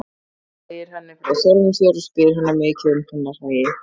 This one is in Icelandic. Hann segir henni frá sjálfum sér og spyr hana mikið um hennar hagi.